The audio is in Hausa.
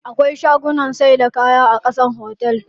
Akwai shagunnan saida kaya a ƙasan otel din.